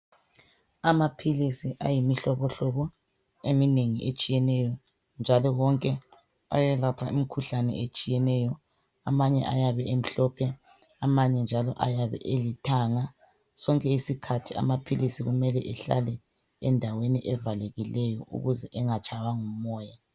Amaphilisi ayimihlobohlobo eminengi etshiyeneyo njalo wonke ayelapha imikhuhlane etshiyeneyo amanye ayabe emhlophe amanye njalo ayabe elithanga. Sonke isikhathi amaphilisi kumele ehlale endaweni evalekileyo ukuze engatshaywa ngumoya.